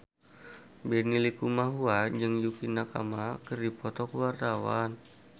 Benny Likumahua jeung Yukie Nakama keur dipoto ku wartawan